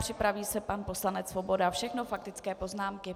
Připraví se pan poslanec Svoboda, všechno faktické poznámky.